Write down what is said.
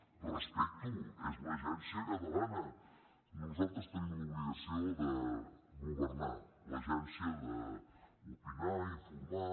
ho respecto és l’agència catalana nosaltres tenim l’obligació de governar l’agència d’opinar informar